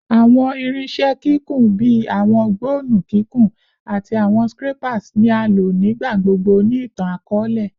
Awọn irinṣẹ kikun bii awọn gbọnnu kikun ati awọn scrapers ni a lo nigbagbogbo ni itan-akọọlẹ